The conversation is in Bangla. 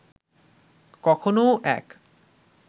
কখনোও এক